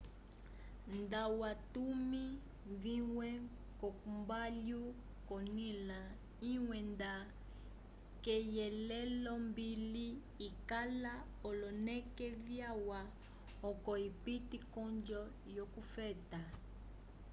nda watumi vimwe ko mbalhu konila imwe nda keyilelombili ikala oloneke vyalwa oco ipite konjo yo kufeta